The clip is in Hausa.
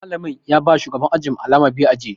Malamin ya ba shugaban ajin mu alama biyu ya ajiye.